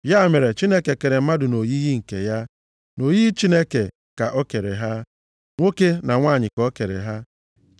Ya mere, Chineke kere mmadụ nʼoyiyi nke ya, nʼoyiyi Chineke ka o kere ha, nwoke na nwanyị ka o kere ha.